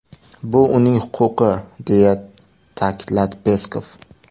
Bu uning huquqi”, deya ta’kidladi Peskov.